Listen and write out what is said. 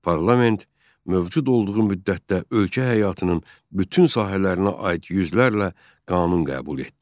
Parlament mövcud olduğu müddətdə ölkə həyatının bütün sahələrinə aid yüzlərlə qanun qəbul etdi.